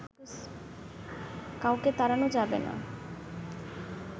কাউকে তাড়ানো যাবে না